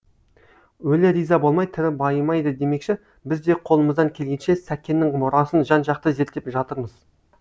өлі риза болмай тірі байымайды демекші біз де қолымыздан келгенше сәкеннің мұрасын жан жақты зерттеп жатырмыз